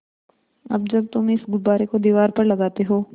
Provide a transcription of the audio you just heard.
अब जब तुम इस गुब्बारे को दीवार पर लगाते हो